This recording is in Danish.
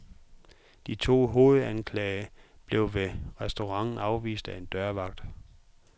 De to hovedanklagede blev ved restauranten afvist af en dørvagt.